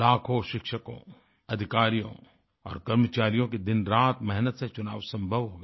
लाखों शिक्षकों अधिकारियों और कर्मचारियों की दिनरात मेहनत से चुनाव संभव हो गया